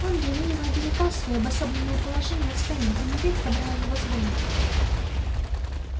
он ревниво оберегал своё обособленное положение в стае и нередко брал его с бою